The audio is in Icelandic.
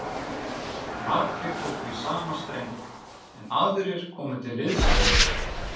Margir tóku í sama streng, en aðrir komu til liðs við